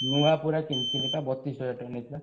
ନୁଆ ପୁରା କିଣିଥିନି ବା ବତିଶ୍ ହଜାର ଟଙ୍କା ନେଇଥିଲା।